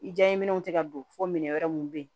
I diya ye minɛnw tɛ ka don fo minɛ wɛrɛ mun bɛ yen